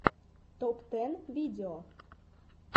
топ тэн видео